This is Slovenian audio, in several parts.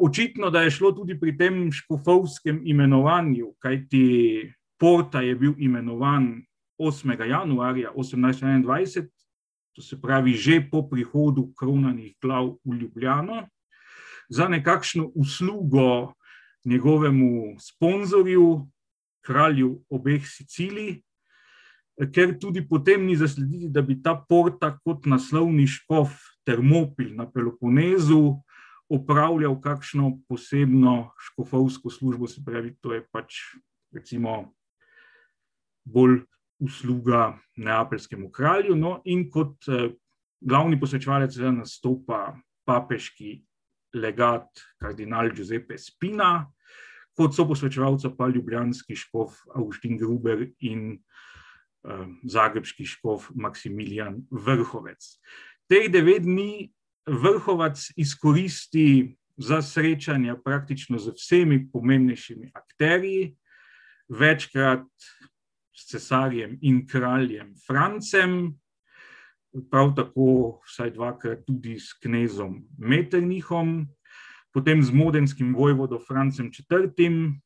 očitno, da je šlo tudi pri tem škofovskem imenovanju, kajti Porta je bil imenovan osmega januarja osemnajststo enaindvajset, to se pravi že po prihodu kronanih glav v Ljubljano. Za nekakšno uslugo njegovemu sponzorju, kralju obeh Sicilij, ker tudi potem ni zaslediti, da bi ta Porta kot naslovni škof Termopil na Peloponezu opravljal kakšno posebno škofovsko službo, se pravi, to je pač recimo bolj usluga neapeljskemu kralju, no, in kot glavni posvečevalec seveda nastopa papeški legat kardinal Giuseppe Spina, kot soposvečevalca pa ljubljanski škof Avguštin Ruber in, zagrebški škof, Maksimilijan Vrhovac. Teh devet dni Vrhovac izkoristi za srečanja praktično z vsemi pomembnejšimi akterji. Večkrat s cesarjem in kraljem Francem, prav tako, vsaj dvakrat tudi s knezom Metternichom, potem z modenskim vojvodom Francem Četrtim,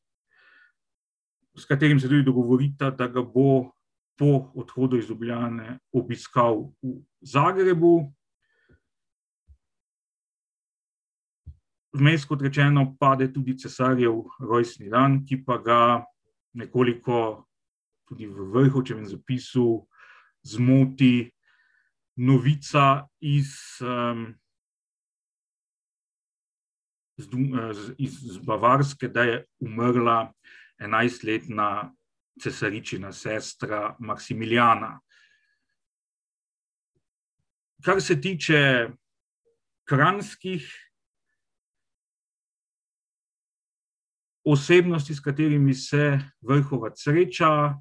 s katerim se tudi dogovorita, da ga bo po odhodu iz Ljubljane obiskal v Zagrebu. Vmes, kot rečeno, pade tudi cesarjev rojstni dan, ki pa ga nekoliko tudi v Vrhovčevem zapisu zmoti novica iz, z iz Bavarske, da je umrla enajstletna cesaričina sestra Maksimilijana. Kar se tiče kranjskih osebnosti, s katerimi se Vrhovac sreča,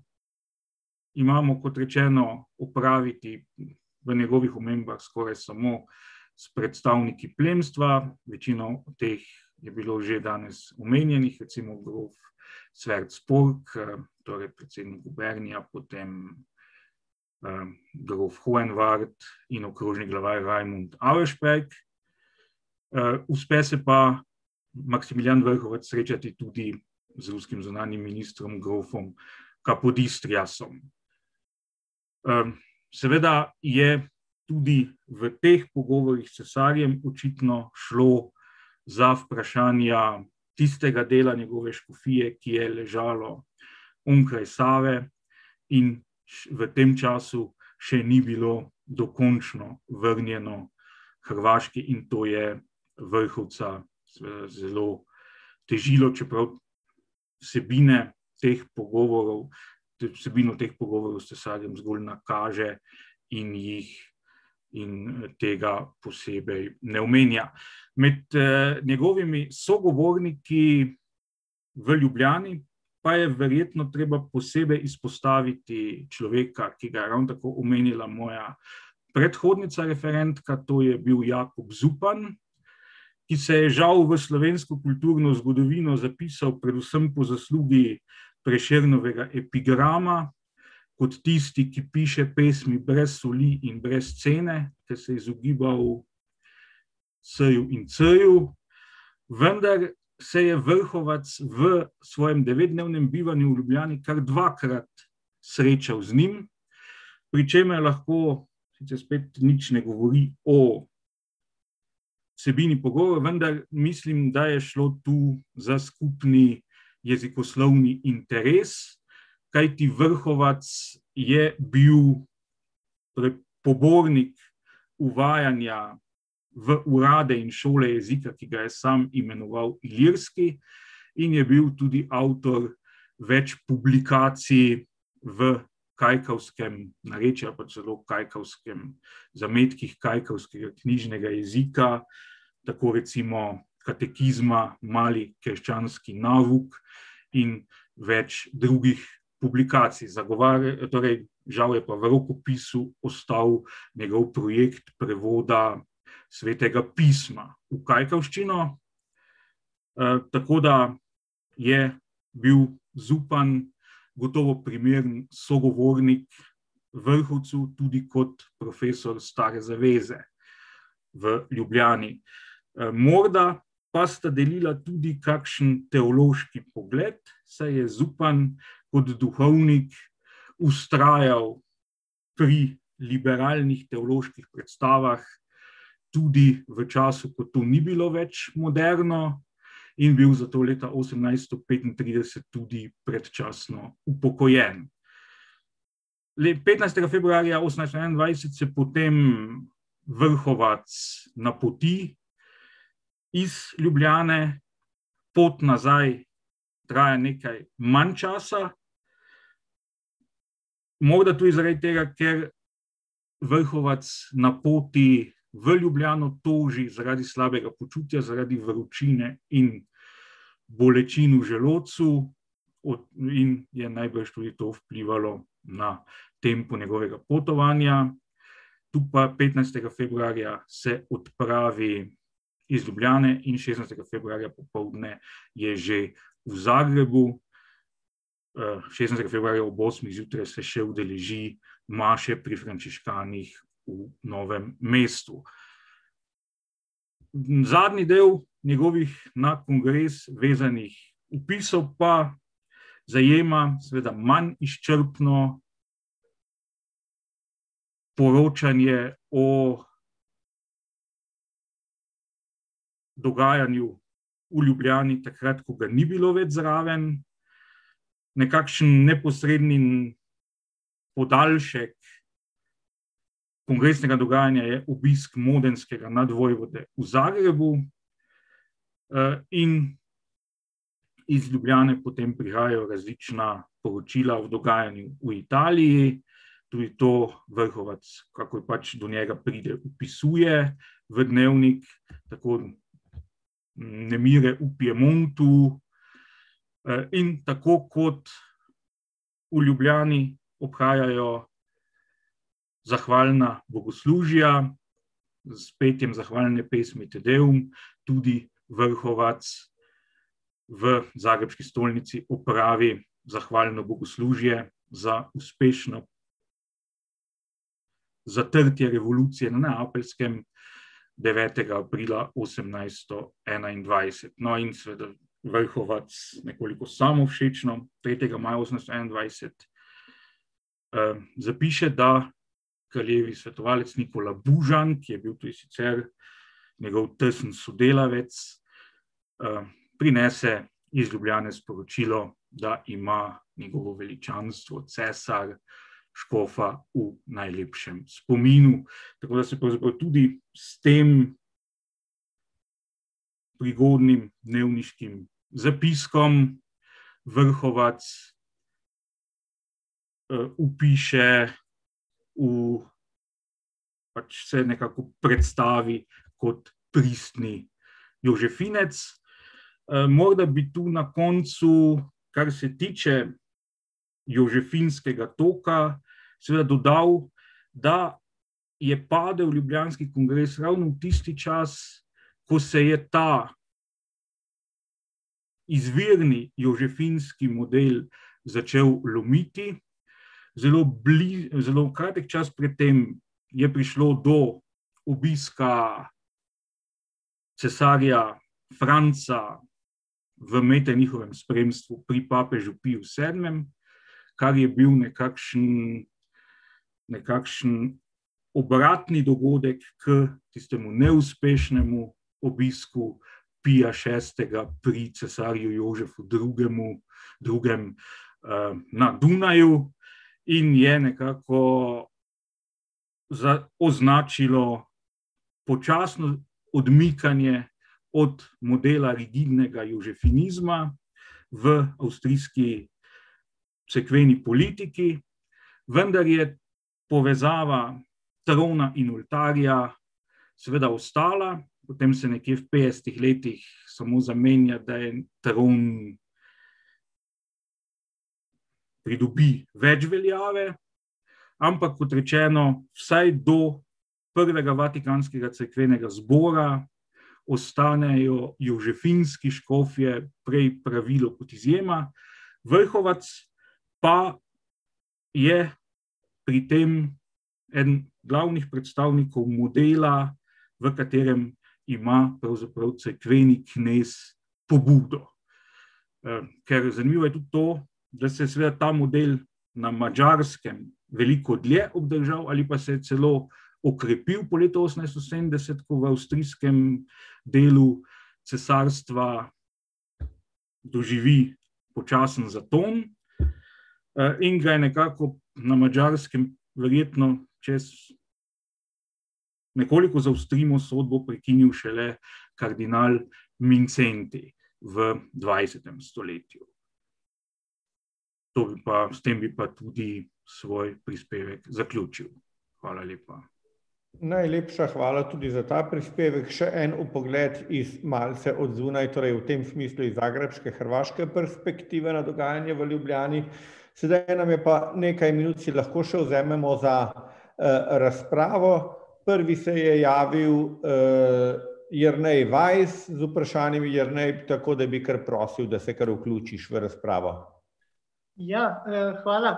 imamo, kot rečeno, opraviti v njegovih omembah skoraj samo s predstavniki plemstva, večino teh je bilo že danes omenjenih, recimo grof Cvelc Polk, torej predsednik , potem, grof Hoenvart in okrožni vladar, Rajmond Auersperg. uspe se pa Maksimilijan Vrhovac srečati tudi z ruskim zunanjim ministrom, grofom Kapodistriasom. seveda je tudi v teh pogovorih s cesarjem očitno šlo za vprašanja tistega dela njegove škofije, ki je ležalo onkraj Save in v tem času še ni bilo dokončno vrnjeno Hrvaški, in to je Vrhovca, zelo težilo, čeprav vsebine teh pogovorov, vsebino teh pogovorov s cesarjem zgolj nakaže in jih, in tega posebej ne omenja. Med, njegovimi sogovorniki v Ljubljani pa je verjetno treba posebej izpostaviti človeka, ki ga je ravno tako omenila moja predhodnica referentka, to je bil Jakob Zupan, ki se je žal v slovensko kulturno zgodovino zapisal predvsem po zaslugi Prešernovega epigrama, kot tisti, ki piše pesmi brez soli in brez cene ter se izogibal s-ju in c-ju, vendar se je Vrhovac v svojem devetdnevnem bivanju v Ljubljani kar dvakrat srečal z njim, pri čemer lahko, če spet nič ne govori o vsebini pogovora, vendar mislim, da je šlo tu za skupni jezikoslovni interes, kajti Vrhovac je bil pogornik uvajanja v urade in šole jezika, ki ga je sam imenoval ilirski, in je bil tudi avtor več publikacij v kajkavskem narečju ali pa celo kajkavskem, zametkih kajkavskega knjižnega jezika, tako recimo Katekizma, Mali krščanski nauk in več drugih publikacij, torej žal je pa v rokopisu ostal njegov projekt prevoda Svetega pisma v kajkavščino. tako da je bil Zupan gotovo primeren sogovornik Vrhovcu tudi kot profesor Stare zaveze v Ljubljani. morda pa sta delila tudi kakšen teološki pogled, saj je Zupan kot duhovnik vztrajal pri liberalnih teoloških predstavah, tudi v času, ko to ni bilo več moderno, in bil zato leta osemnajststo petintrideset tudi predčasno upokojen. petnajstega februarja osemnajststo enaindvajset se potem Vrhovac napoti iz Ljubljane, pot nazaj traja nekaj manj časa. Morda tudi zaradi tega, ker Vrhovac na poti v Ljubljano toži zaradi slabega počutja, toži zaradi vročine in bolečin v želodcu. in je najbrž tudi to vplivalo na tempo njegovega potovanja. Tu pa petnajstega februarja se odpravi iz Ljubljane in šestnajstega februarja popoldne je že v Zagrebu. šestnajstega februarja ob osmih zjutraj se že udeleži maše pri frančiškanih v Novem mestu. Zadnji del njegovih na kongres vezanih opisov pa zajema seveda manj izčrpno poročanje o dogajanju v Ljubljani takrat, ko ga ni bilo več zraven. Nekakšen neposredni podaljšek kongresnega dogajanja je obisk modenskega nadvojvode v Zagrebu. in iz Ljubljane potem prihajajo različna poročila o dogajanju v Italiji. Tudi to Vrhovac, kakor pač do njega pride, opisuje v dnevnik, tako nemire v Piemontu, in tako kot v Ljubljani obhajajo zahvalna bogoslužja, s petjem zahvalne pesmi Te deum, tudi Vrhovac v zagrebški stolnici opravi zahvalno bogoslužje za uspešno zatrtje revolucije na Neapeljskem devetega aprila osemnajststo enaindvajset. No, in seveda Vrhovac nekoliko samovšečno tretjega maja osemsto enaidvajset, zapiše, da kraljevi svetovalec Nikolaj Bužan, ki je bil tudi sicer njegov tesni sodelavec, prinese iz Ljubljane sporočilo, da ima njegovo veličanstvo, cesar, škofa v najlepšem spominu. Tako da se pravzaprav tudi s tem prigodnim dnevniškim zapiskom Vrhovac, vpiše v, pač se nekako predstavi kot pristni jožefinec. morda bi tu na koncu, kar se tiče jožefinskega toka seveda dodal, da je padel ljubljanski kongres ravno v tisti čas, ko se je ta izvirni jožefinski model začel lomiti, zelo zelo kratek čas, medtem je prišlo do obiska cesarja Franca v Metternichovem spremstvu pri papežu Piju Sedmem, kar je bil nekakšen, nekakšen obratni dogodek k tistemu neuspešnemu obisku Pija Šestega pri cesarju Jožefu Drugemu, Drugem, na Dunaju. In je nekako označilo počasno odmikanje od modela rigidnega jožefinizma v avstrijski cerkveni politiki, vendar je povezava trona in oltarja seveda ostala, potem se nekje v petdesetih letih samo zamenja, da je tron pridobi več veljave, ampak, kot rečeno, vsaj do prvega vatikanskega cerkvenega zbora ostanejo jožefinski škofje prej pravilo kot izjema, Vrhovac pa je pri tem eden glavnih predstavnikov modela, v katerem ima pravzaprav cerkveni knez pobudo. ker zanimivo je tudi to, da se seveda ta model na Madžarskem veliko dlje obdržal ali pa se je celo okrepil po letu osemnajststo sedemdeset, ko v avstrijskem delu cesarstva doživi počasen zaton. in ga nekako na Madžarskem verjetno, če nekoliko zaostrimo sodbo, prekinil šele kardinal Mincendij v dvajsetem stoletju. To pa, s tem bi pa tudi svoj prispevek zaključil. Hvala lepa. Najlepša hvala tudi za ta prispevek, še en pogled iz malce od zunaj, torej v tem smislu iz zagrebške, hrvaške perspektive na dogajanje v Ljubljani. Sedaj je nam pa, nekaj minut si lahko vzamemo še za, razpravo, prvi se je javil, Jernej Weiss z vprašanjem, Jernej, tako da bi kar prosil, da se kar vključiš v razpravo. Ja, hvala,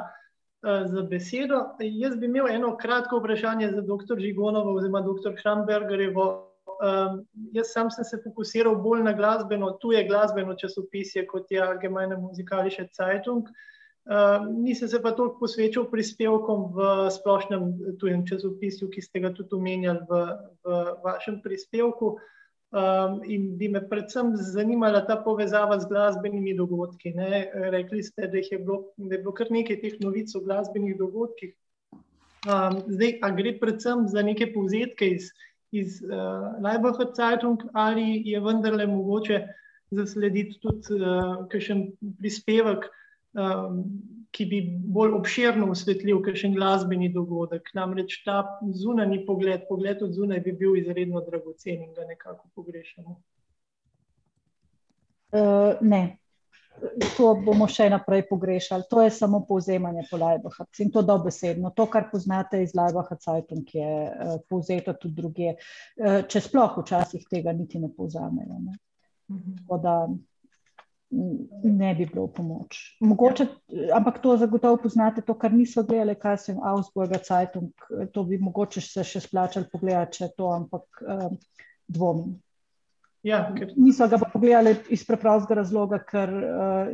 za besedo, jaz bi imel eno kratko vprašanje za doktor Žigonovo oziroma doktor Krambergerjevo, jaz samo sem se fokusiral bolj na glasbeno, tuje glasbeno časopisje, kot je Allgemeine Musikalische Zeitung. nisem se pa toliko posvečal prispevkov v splošnem tujem časopisju, ki ste ga tudi omenjali v, v vašem prispevku. in bi me predvsem zanimala ta povezava z glasbenimi dogodki, ne, rekli ste, da jih je bilo, da je bilo kar nekaj teh novic o glasbenih dogodkih, zdaj a gre predvsem za neke povzetke iz, iz, Laibacher Zeitung ali je vendarle mogoče zaslediti tudi, kakšen prispevek, ki bi bolj obširno osvetlil kakšen glasbeni dogodek, namreč ta zunanji pogled, pogled od zunaj bi bil izredno dragocen in ga nekako pogrešamo. ne. To bomo še naprej pogrešali, to je samo povzemanje po Laibacher in to dobesedno, to, kar poznate iz Laibacher Zeitung, je, povzeto tudi drugje. če sploh včasih tega niti ne povzamejo, ne. tako da, ne bi bilo v pomoč, mogoče, ampak to zagotovo poznate, to, kar nisva gledali, kaj jaz vem, Ausburger Zeitung, to bi mogoče se še splačalo pogledati še to, ampak dvomim. Ja, ker ... Nisva ga pa pogledali iz preprostega razloga, ker,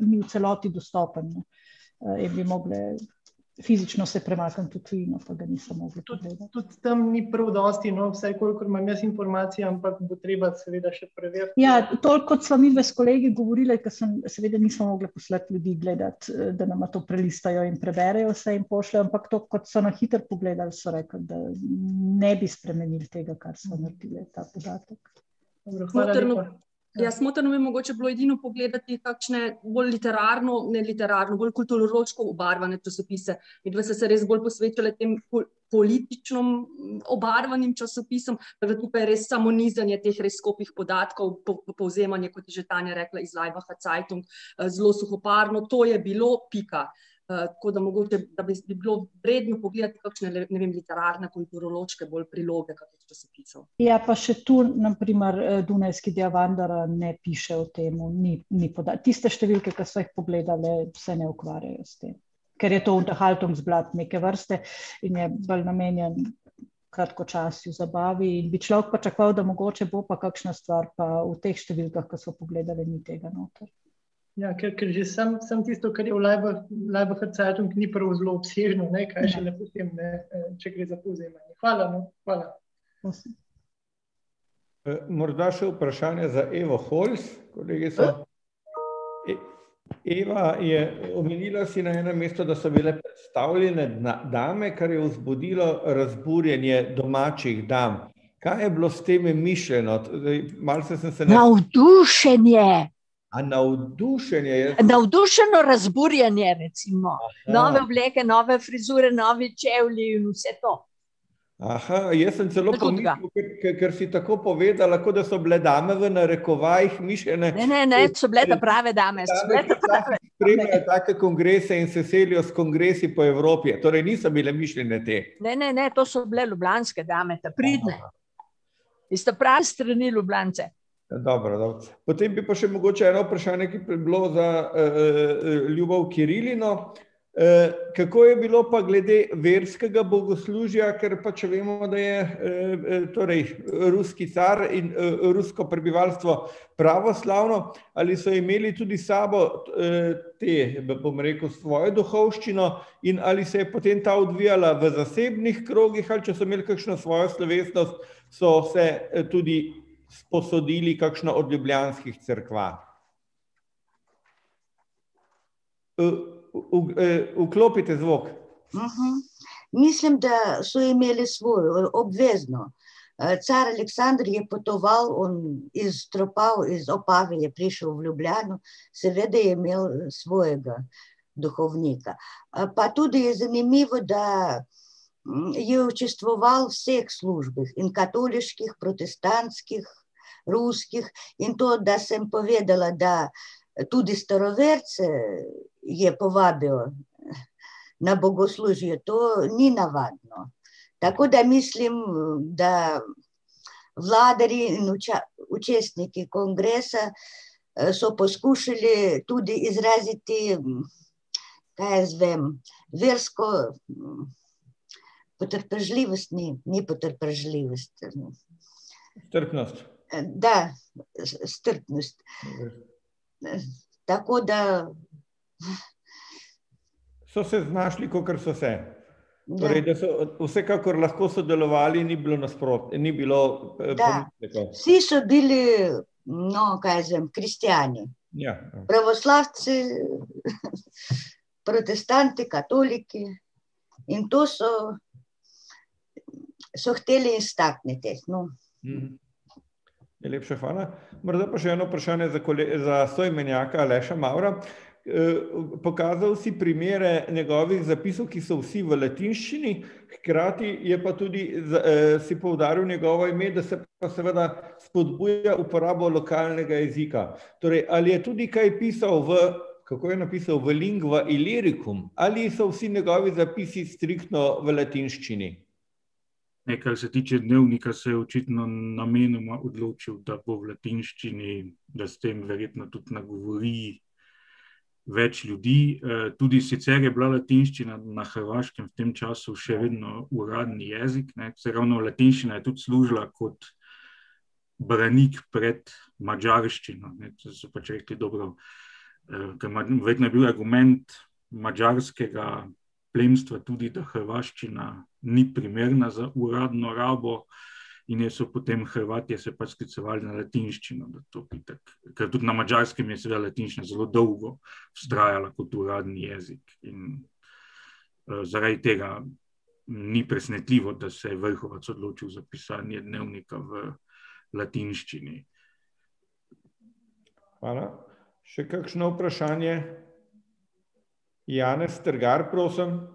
ni v celoti dostopen, ne. bi mogli fizično se premakniti v tujino, pa ga nisva mogli. Tudi, tudi tam ni prav dosti, no, vsaj kolikor imam jaz informacij, ampak bo treba seveda še preveriti ... Ja, toliko, kot sva midve s kolegi govorili, ko sem, seveda nismo mogli poslati ljudi gledat, da nama to prelistajo in preberejo, se jim pošlje, ampak tako, kot so na hitro pogledali, so rekli, da ne bi spremenili tega, kar sva naredili, ta podatek. Ja, smotrno bi mogoče bilo edino pogledati kakšne bolj literarno, ne literarno, bolj kulturološko obarvane časopise. Midva sva se res bolj posvečali tem politično obarvanim časopisom, samo res nizanje res skopih podatkov pa povzemanje, kot je že Tanja rekla, iz Laibacher Zeitung, zelo suhoparno, to je bilo, pika. tako da mogoče, da bi si bilo vredno pogledati kakšne, ne vem, literarne, kulturološke bolj priloge kakih časopisov. Ja, pa še tu na primer, dunajski ne piše o tem, ni, ni tiste številke, ko sva jih pogledali, se ne ukvarjajo s tem, ker je to Unterhaltungsblatt neke vrste in je bolj namenjen kratkočasju, zabavi in bi človek pričakoval, da mogoče bo pa kakšna stvar pa v teh številkah, ko sva pogledali, ni tega noter. Ja, ker, ker že samo, samo tisto, kar je v Laibacher Zeitung, ni prav zelo obsežno, ne, kaj šele potem, ne, če gre za povzemanje. Hvala vam, hvala. Prosim. morda še vprašanje za Evo Holc, kolegica. Eva je, omenila si na enem mestu, da so bile predstavljene dame, kar je vzbudilo razburjenje domačih dam. Kaj je bilo s tem mišljeno, zdaj malo sem se ... Navdušenje! A navdušenje, jaz ... Navdušeno razburjenje, recimo, nove obleke, nove frizure, novi čevlji, vse to. jaz sem celo pomislil, ker si tako povedala, kot da so bile dame v narekovajih mišljene ... Ne, ne, ne, so bile ta prave dame, so bile ta prave. kongresa in se selijo s kongresi po Evropi, torej niso bile mišljene te. Ne, ne, ne, to so bile ljubljanske dame, ta pridne. Iz ta prave strani Ljubljanice. dobro, no, potem bi pa še mogoče eno vprašanje, ki bi bilo za, Ljubov Kirilino, kako je bilo pa glede verskega bogoslužja, ker pač vemo, da je, torej ruski car in, rusko prebivalstvo pravoslavno, ali so imeli tudi s sabo, te, da bom rekel, svojo duhovščino in ali se je potem ta odvijala v zasebnih krogih ali če so imeli kakšno svojo slovesnost, so se tudi sposodili kakšno od ljubljanskih cerkev? vklopite zvok. Mislim, da so imeli svojo, obvezno. car Aleksander je potoval iz iz Opave je prišel v Ljubljano, seveda je imel svojega duhovnika. pa tudi zanimivo, da, je občestvoval v vseh službah, in katoliških, protestantskih, ruskih, in to, da sem povedala, da tudi staroverce je povabil na bogoslužje, to ni navadno. Tako da mislim, da in občestniki kongresa, so poskušali tudi izraziti kaj jaz vem, versko, potrpežljivostni, ni potrpežljivost. Strpnost. da. strpnost. tako da ... So se znašli, kakor so se. Ja. Da. Torej da so vsekakor lahko sodelovali, ni bilo ni bilo, ... Vsi so bili, no, kaj jaz vem, kristjani. Ja. Pravoslavci, protestanti, katoliki, in to so, so hoteli stakniti. Najlepša hvala. Morda pa še eno vprašanje za za soimenjaka, Aleša Mavra. pokazal si primere njegovih zapisov, ki so vsi v latinščini, hkrati je pa tudi si poudaril njegovo ime, da se pa seveda spodbuja uporabo lokalnega jezika. Torej ali je tudi kaj pisal v, kako je napisal, v lingua iliricum? Ali so vsi njegovi zapisi striktno v latinščini? Ne, kar se tiče dnevnika, se je očitno namenoma odločil, da bo v latinščini, da s tem verjetno tudi nagovori več ljudi, tudi sicer je bila latinščina na Hrvaškem v tem času še vedno uradni jezik, ne, saj ravno latinščina je tudi služila kot branik pred madžarščino, ne, to so pač rekli, dobro, verjetno je bil argument madžarskega plemstva tudi, da hrvaščina ni primerna za uradno rabo, in je, so potem Hrvatje se pač sklicevali na latinščino, zato itak, ker tudi na Madžarskem je seveda latinščina zelo dolgo vztrajala kot uradni jezik in, zaradi tega ni presenetljivo, da se je Vrhovac odločil za pisanje dnevnika v latinščini. Hvala. Še kakšno vprašanje? Janez Strgar, prosim.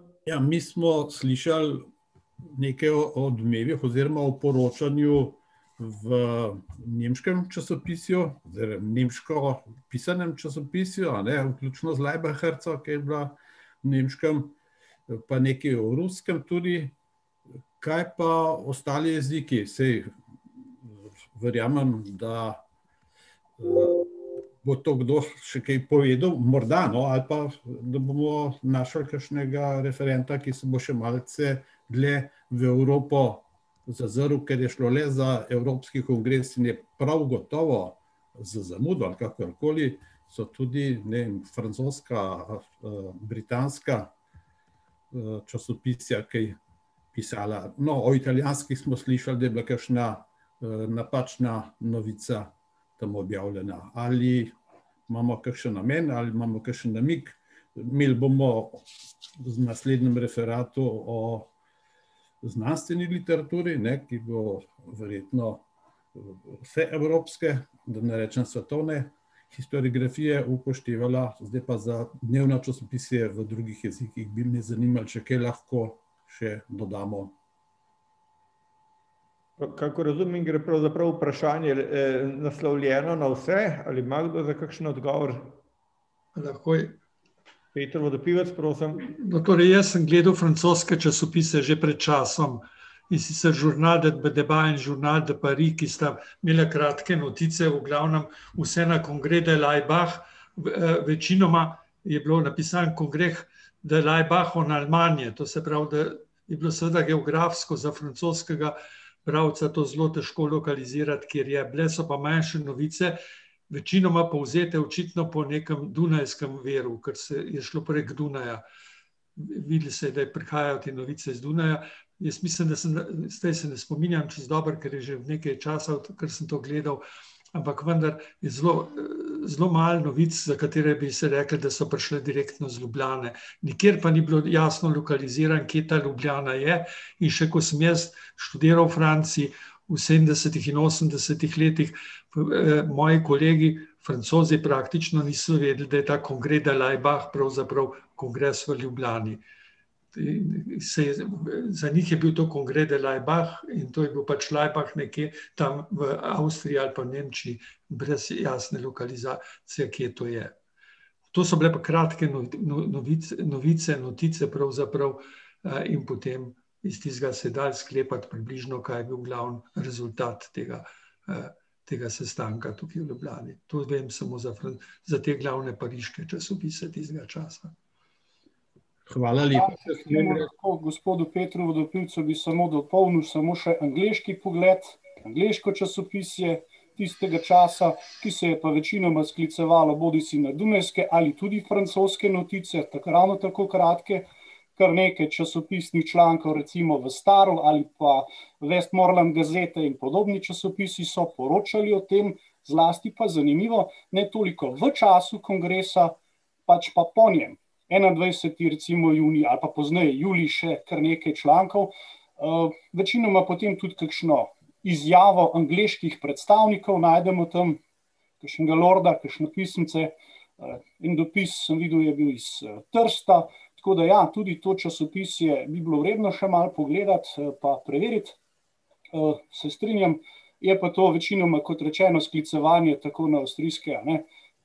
[anonimiziran